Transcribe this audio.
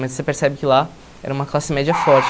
Mas você percebe que lá era uma classe média forte.